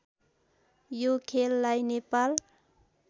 यो खेललाई नेपाल